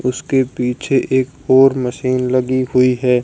उसके पीछे एक और मशीन लगी हुई है।